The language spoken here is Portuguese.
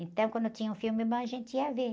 Então, quando tinha um filme bom, a gente ia ver.